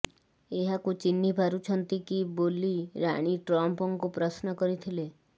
ଏହାକୁ ଚିହ୍ନି ପାରୁଛନ୍ତି କି ବୋଲି ରାଣୀ ଟ୍ରମ୍ପଙ୍କୁ ପ୍ରଶ୍ନ କରିଥିଲେ